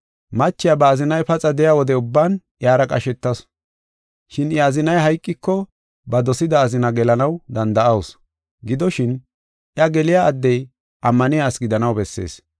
Machiya ba azinay paxa de7iya wode ubban iyara qashetasu. Shin I azinay hayqiko, ba dosida azina gelanaw danda7awusu. Gidoshin, iya geliya addey ammaniya asi gidanaw bessees.